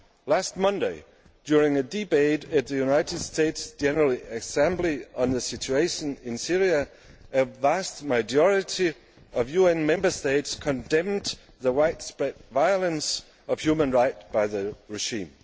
Last Monday, during a debate at the United Nations General Assembly on the situation in Syria, a vast majority of UN Member States condemned the widespread violation of human rights by the regime.